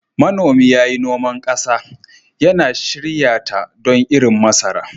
Manomi ya yi noman ƙasa, yana shirya ta don irin masara.